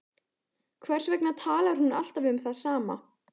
Hvers vegna talar hún alltaf um það sama?